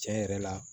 Tiɲɛ yɛrɛ la